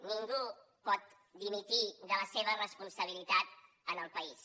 ningú pot dimitir de la seva responsabilitat en el país